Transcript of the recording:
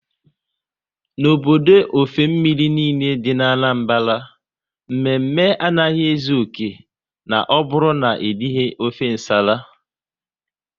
N'obodo ofe mmiri niile dị n'Anambra, mme mme anaghị ezu oké na ọ bụrụ na erighi ofe nsala